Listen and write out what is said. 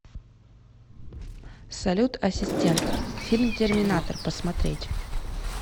салют ассистент фильм терминатор посмотреть